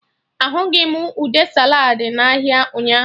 Ahụghị m ude saladị na ahịa ụnyaahụ